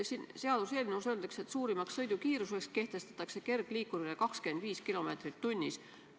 Siin seaduseelnõus öeldakse, et suurimaks sõidukiiruseks kehtestatakse kergliikurile 25 kilomeetrit tunnis.